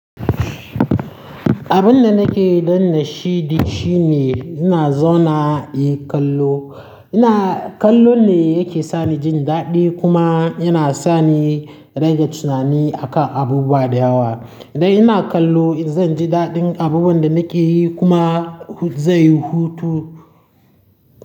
Abin da nake dannashi shi, shi ne ina zauna in kallo. Ina-- kallo ne yake sani jin daɗi kuma yana sani rage tunani akan abubuwa da yawa. Idan ina kallo zan ji daɗin abubuwan da nake yi kuma zai hutu.